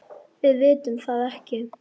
SOPHUS: Við vitum það ekki.